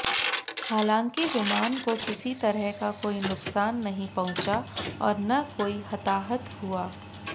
हालांकि विमान को किसी तरह का कोई नुकसान नहीं पहुंचा और न कोई हताहत हुआ